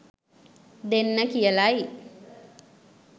දෙන්න කියලයි.